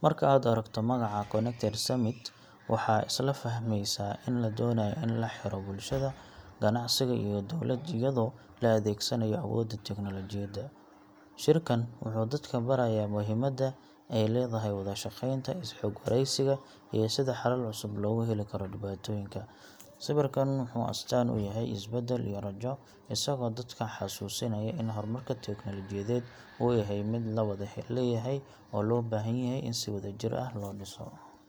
Marka aad aragto magaca Connected Summit, waxaad isla fahmaysaa in la doonayo in la xiro bulshada, ganacsiga, iyo dawladda iyadoo la adeegsanayo awoodda tiknoolajiyadda. Shirkan wuxuu dadka barayaa muhiimadda ay leedahay wada shaqeynta, is-xog-wareysiga, iyo sida xalal cusub loogu heli karo dhibaatooyinka jira. Sawirkan wuxuu astaan u yahay is-beddel iyo rajo, isagoo dadka xasuusinaya in horumarka tiknoolajiyadeed uu yahay mid la wada leeyahay oo loo baahan yahay in si wadajir ah loo dhiso.